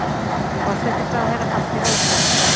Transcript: Forsætisráðherra haldi ró sinni